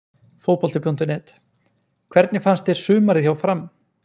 Fótbolti.net: Hvernig fannst þér sumarið hjá FRAM?